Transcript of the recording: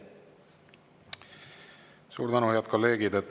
Suur tänu, head kolleegid!